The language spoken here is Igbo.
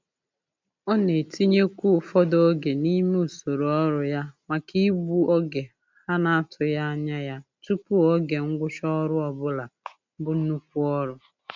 Ọ na-etinyekwu ụfọdụ oge n'ime usoro ọrụ ya maka igbu oge ha n'atụghị anya ya tụpụ oge ngwụcha ọrụ ọbụla bu nnukwu ọrụ.